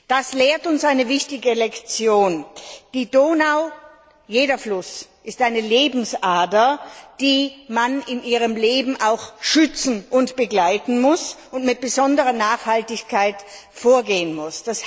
Das lehrt uns eine wichtige Lektion Die Donau jeder Fluss ist eine Lebensader, die man in ihrem Leben auch schützen und begleiten muss und wo man mit besonderer Nachhaltigkeit vorgehen muss.